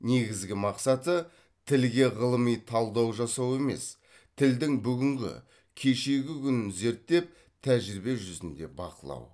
негізгі мақсаты тілге ғылыми талдау жасау емес тілдің бүгінгі кешегі күнін зерттеп тәжірибе жүзінде бақылау